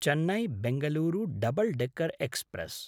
चेन्नै–बेङ्गलूर double decker express